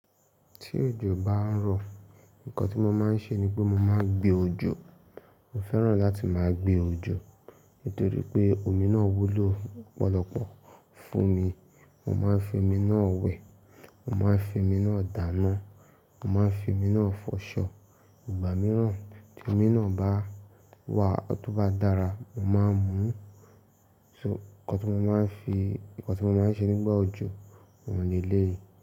Tí òjò bá ń rọ̀, nǹkan tí mo máa ń ṣe ni pé mọ máa ń gbé òjò. Mọ fẹ́ràn láti máa gbé òjò, nítorí pé omi náà wúlò lọ̀pọ̀lọpọ̀ fún mi. Mọ máa ń fi omi náà wẹ̀, mọ máa ń fi omi náà dáná, mọ máa ń fi omi náà fọṣọ. Ìgbà mìíràn tí omi náà bá wà tóbá dára, mọ máa ń mu. Ṣo, nǹkan tí mọ máa ń fi, nǹkan tí mọ máa ń ṣe nígbà òjò òun lẹ lé yìí.